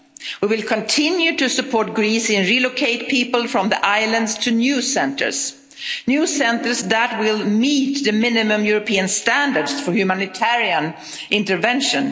We will continue to support Greece and relocate people from the islands to new centres new centres that will meet the minimum European standards for humanitarian intervention.